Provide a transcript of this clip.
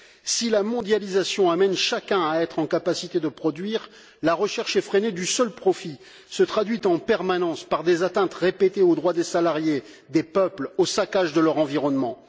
Si la mondialisation amène chacun à être en capacité de produire, la recherche effrénée du seul profit se traduit en permanence par des atteintes répétées aux droits des salariés et des peuples, ainsi qu'au saccage de leur environnement.